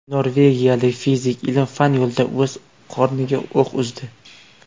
Norvegiyalik fizik ilm-fan yo‘lida o‘z qorniga o‘q uzdi .